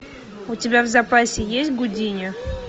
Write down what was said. у тебя в запасе есть гудини